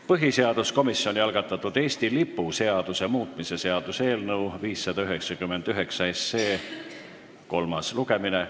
Põhiseaduskomisjoni algatatud Eesti lipu seaduse muutmise seaduse eelnõu 599 kolmas lugemine.